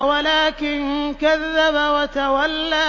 وَلَٰكِن كَذَّبَ وَتَوَلَّىٰ